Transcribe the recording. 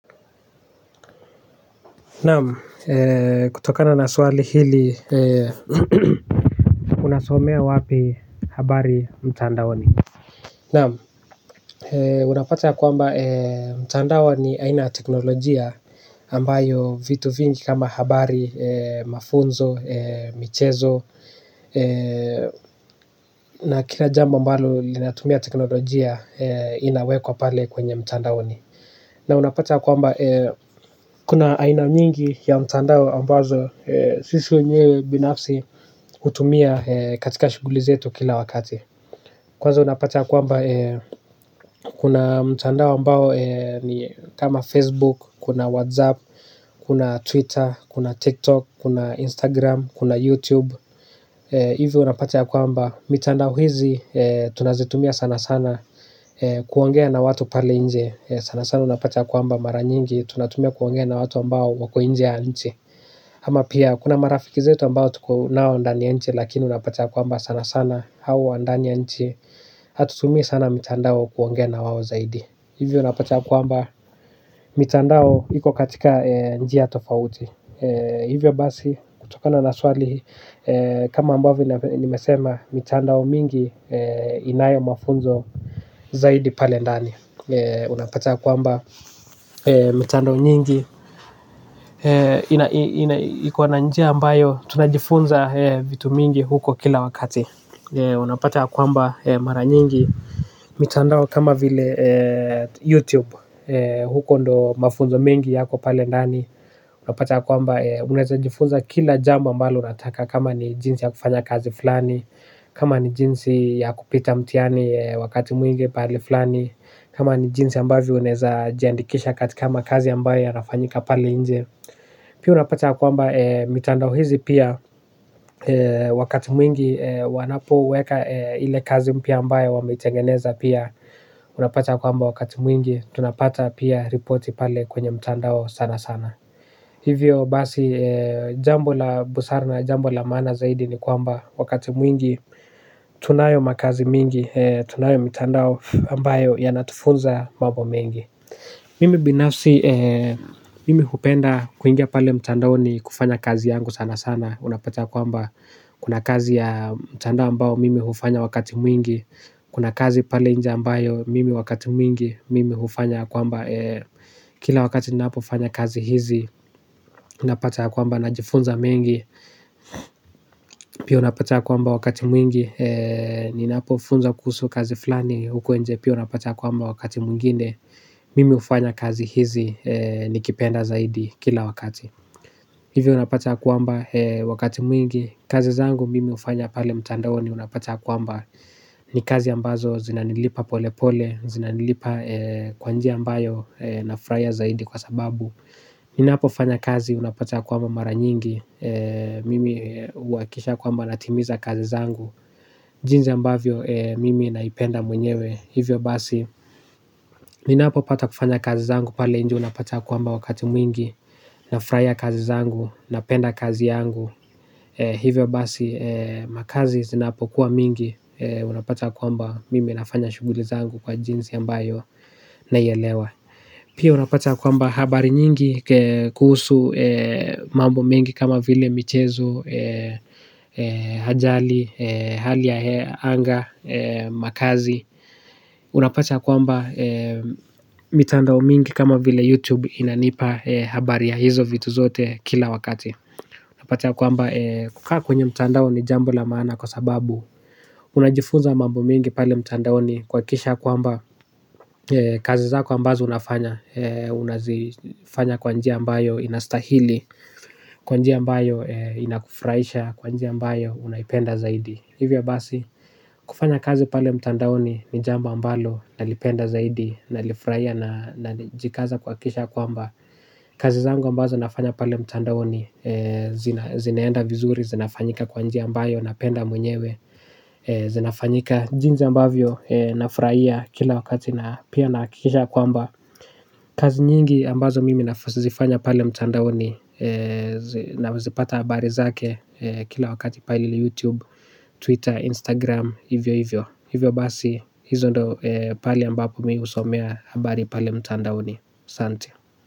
Naam kutokana na swali hili unasomea wapi habari mtandaoni naam unapata kwamba mtandao ni aina ya teknologia ambayo vitu vingi kama habari mafunzo michezo na kila jambo ambalo linatumia teknolojia inawekwa pale kwenye mtandaoni. Na unapata ya kwamba kuna aina nyingi ya mtandao ambazo sisi wenyewe binafsi hutumia katika shughuli zetu kila wakati. Kwanza unapata ya kwamba kuna mtandao ambao ni kama Facebook, kuna WhatsApp, kuna Twitter, kuna TikTok, kuna Instagram, kuna YouTube. Hivyo unapata ya kwamba mitandao hizi tunazitumia sana sana kuongea na watu pale inje. Sana sana unapata ya kwamba mara nyingi tunatumia kuongea na watu ambao wako inje ya nchi. Ama pia kuna marafiki zetu ambao tuko nao ndani ya nchi. Lakini unapata ya kwamba sana sana hao wa ndani ya nchi hatutumi sana mitandao kuongea na wao zaidi. Hivyo unapata ya kwamba mitandao iko katika njia tofauti hivyo basi kutokana na swali kama ambavyo nimesema mitandao mingi inayo mafunzo zaidi pale ndani unapata ya kwamba mitandao nyingi iko na njia ambayo tunajifunza vitu mingi huko kila wakati. Unapata ya kwamba mara nyingi mitandao kama vile YouTube. Huko ndo mafunzo mengi yako pale ndani. Unapata ya kwamba unaezajifunza kila jambo ambalo unataka. Kama ni jinsi ya kufanya kazi flani. Kama ni jinsi ya kupita mtihani wakati mwingi pahali flani. Kama ni jinsi ambavyo unaeza jiandikisha katika makazi ambayo yanafanyika pale inje. Pii unapata ya kwamba mitandao hizi pia wakati mwingi wanapoweka ile kazi mpya ambayo wameitengeneza pia. Unapata kwamba wakati mwingi tunapata pia ripoti pale kwenye mitandao sana sana. Hivyo basi jambo la busara na jambo la maana zaidi ni kwamba wakati mwingi. Tunayo makazi mingi, tunayo mitandao ambayo yanatufunza mambo mengi. Mimi binafsi, mimi hupenda kuingia pale mtandaoni kufanya kazi yangu sana sana. Unapata ya kwamba kuna kazi ya mtandao ambayo mimi hufanya wakati mwingi. Kuna kazi pale inje ambayo mimi wakati mwingi mimi hufanya kwamba kila wakati ninapofanya kazi hizi, unapata kwamba najifunza mengi pia unapata ya kwamba wakati mwingi ninapo funza kuhusu kazi flani huko inje. Pia unapata kuamba wakati mwingine. Mimi hufanya kazi hizi nikipenda zaidi kila wakati. Hivi unapata ya kwamba wakati mwingi kazi zangu mimi hufanya pale mtandaoni unapata ya kwamba ni kazi ambazo zinanilipa pole pole. Zinanilipa kwa njia ambayo nafurahia zaidi kwa sababu ninapofanya kazi unapata ya kwamba mara nyingi mimi huhakikisha kwamba natimiza kazi zangu jinsi ambavyo mimi naipenda mwenyewe hivyo basi. Ninapo pata kufanya kazi zangu pale inje unapata ya kwamba wakati mwingi. Nafurahia kazi zangu. Napenda kazi yangu. Hivyo basi. Makazi zinapo kuwa mingi. Unapata kwamba mimi nafanya shughuli zangu kwa jinsi ambayo naielewa. Pia unapata kwamba habari nyingi kuhusu mambo mingi kama vile michezo ajali, hali ya anga, makazi. Unapata ya kwamba mitandao mingi kama vile YouTube inanipa habari ya hizo vitu zote kila wakati. Unapata ya kwamba kukaa kwenye mitandao ni jambo la maana kwa sababu unajifunza mambo mengi pale mitandaoni kuhakisha ya kwamba kazi zako ambazo unafanya. Unazifanya kwa njia ambayo inastahili. Kwa njia ambayo inakufuraisha, kwa njia ambayo unayipenda zaidi. Hivyo basi, kufanya kazi pale mtandaoni ni jambo ambalo nalipenda zaidi. Nalifurahia na najikaza kuhakisha kwamba kazi zangu ambazo nafanya pale mtandaoni zinaenda vizuri, zinafanyika kwa njia ambayo napenda mwenyewe. Zinafanyika jinsi ambavyo nafurahia kila wakati na pia nahakikisha kwamba kazi nyingi ambazo mimi nazifanya pale mtandaoni na wazipata habari zake. Kila wakati pale YouTube Twitter, Instagram. Hivyo hivyo. Hivyo basi. Hizo ndo pahali ambapo mimi husomea habari pali mtandaoni aSanti.